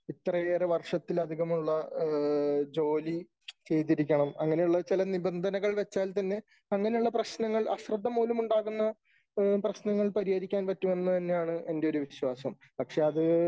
ഇത്രയേറെ വർഷത്തിലധികമുള്ള ജോലി ചെയ്തിരിക്കണം . അങ്ങനെ ഉള്ള ചില നിബന്ധനകൾ വച്ചാൽ തന്നെ അങ്ങനെയുള്ള പ്രശ്നങ്ങൾ അശ്രദ്ധ മൂലം ഉണ്ടാകുന്ന പ്രശ്നങ്ങൾ പരിഹരിക്കാൻ പറ്റുമെന്ന് തന്നെയാണ് എന്റെ ഒരു വിശ്വാസം. പക്ഷേ അത്